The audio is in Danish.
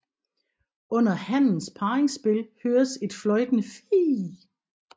Under hannens parringsspil høres et fløjtende fiih